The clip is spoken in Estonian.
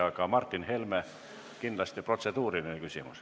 Aga nüüd Martin Helme, kellel on kindlasti protseduuriline küsimus.